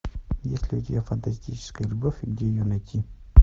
есть ли у тебя фантастическая любовь и где ее найти